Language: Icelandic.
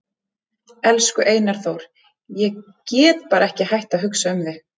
Elsku Einar Þór, ég get bara ekki hætt að hugsa um þig.